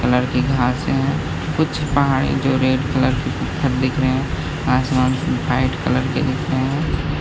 लड़की कहाँ से है कुछ पहाड़ी जो है रेड कलर की पत्थर दिख रहे आसमान वाइट कलर के दिख रहे हैं ।